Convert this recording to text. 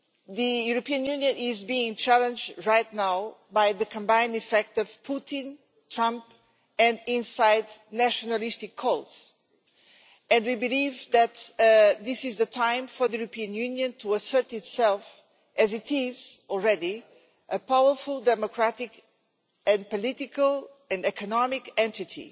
The European Union is being challenged right now by the combined effect of Putin, Trump and internal nationalistic voices, and we believe that this is the time for the European Union to assert itself as what it is already a powerful democratic political and economic entity.